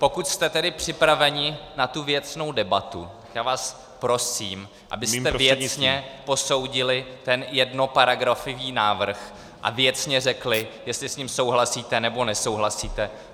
Pokud jste tedy připraveni na tu věcnou debatu, já vás prosím , abyste věcně posoudili ten jednoparagrafový návrh a věcně řekli, jestli s ním souhlasíte, nebo nesouhlasíte.